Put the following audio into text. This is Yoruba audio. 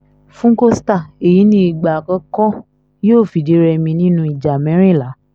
fún costa èyí ní ìgbà àkọ́kọ́ yóò fìdí-rèmi nínú ìjà mẹ́rìnlá